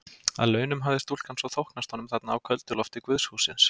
Að launum hafði stúlkan svo þóknast honum þarna á köldu lofti guðshússins.